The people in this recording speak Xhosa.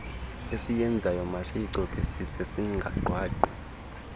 esiyenzayo masiyicokisise singagqwagqwi